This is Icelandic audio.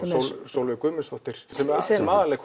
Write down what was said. Sólveig Guðmundsdóttir sem sem